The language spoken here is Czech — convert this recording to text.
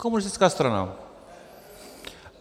Komunistická strana.